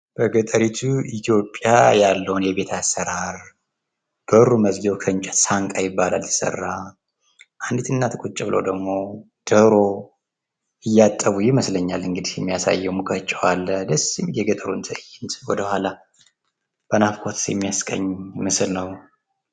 በገጠሪቱ ኢትዮጵያ ያለውን የቤት አሰራር በሩ መዝጊያብ ሳንቃ ይባላል። አንዲት አናት ቁጭ ብለው ድግሞ ዶሮ እያጠቡ ይመስለኛል የሚያሳየው እንግዲህ አለ ደስ የሚል የገጠሩን ትእይንት ወደኋላ በናፍቆት የሚያስቃኝ ምስል ነው።